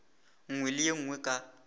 nngwe le ye nngwe ka